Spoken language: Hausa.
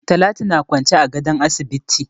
Talatu na kwance a gadon asibiti.